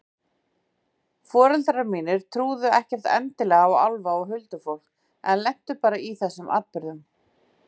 Foreldrar mínir trúðu ekkert endilega á álfa og huldufólk en lentu bara í þessum atburðum.